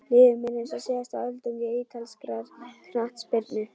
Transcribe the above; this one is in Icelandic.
Líður mér eins og síðasta öldungi ítalskrar knattspyrnu?